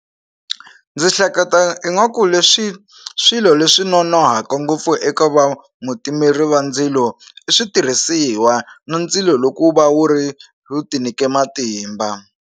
Ndzi hleketa ingaku leswi swilo leswi nonohaku ngopfu eka va mutimeri wa ndzilo i switirhisiwa na ndzilo loko wu va wu ri ti nike matimba.